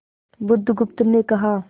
बुधगुप्त ने कहा